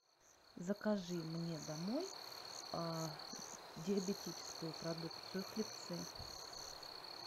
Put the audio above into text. закажи мне домой диабетическую продукцию хлебцы